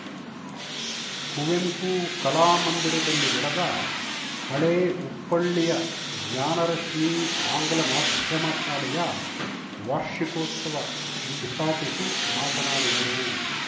ಕುವೆಂಪು ಕಲಾ ಮಂದಿರದಲ್ಲಿ ನಡೆದ ಹಳೇ ಉಪ್ಪಳ್ಳಿಯ ಜ್ಞಾನರಶ್ಮಿ ಆಂಗ್ಲ ಮಾಧ್ಯಮ ಶಾಲೆಯ ವಾರ್ಷಿಕೋತ್ಸವ ಉದ್ಘಾಟಿಸಿ ಮಾತನಾಡಿದರು